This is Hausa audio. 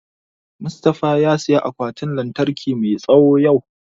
Mustafa ya saya akwatin lantarki mai tsawo yau